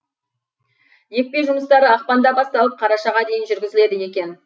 екпе жұмыстары ақпанда басталып қарашаға дейін жүргізіледі екен